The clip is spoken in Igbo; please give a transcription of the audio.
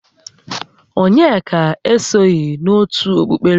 Onyeka esoghi n'ótù okpukpere chi ọbụla